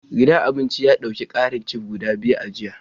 Gidan abincin ya dauki karin Chef guda biyu a jiya